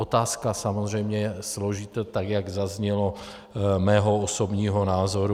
Otázka samozřejmě je složitá, tak jak zaznělo, mého osobního názoru.